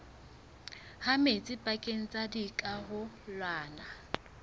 ha metsi pakeng tsa dikarolwana